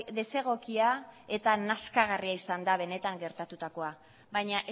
desegokia eta nazkagarria izan da benetan gertatutakoa baina